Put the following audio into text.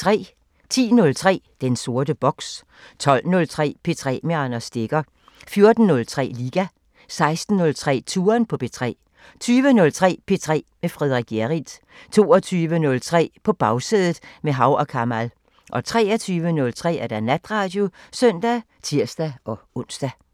10:03: Den sorte boks 12:03: P3 med Anders Stegger 14:03: Liga 16:03: Touren på P3 20:03: P3 med Frederik Hjerrild 22:03: På Bagsædet – med Hav & Kamal 23:03: Natradio (søn og tir-ons)